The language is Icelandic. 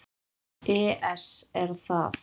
ES Er það?